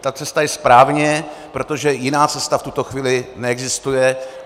Ta cesta je správně, protože jiná cesta v tuto chvíli neexistuje.